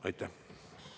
Aitäh!